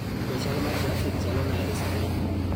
Be chal ma trafik chalo nade sani?